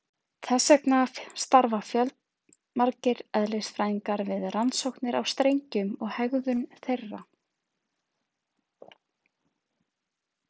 Þess vegna starfa fjölmargir eðlisfræðingar við rannsóknir á strengjum og hegðun þeirra.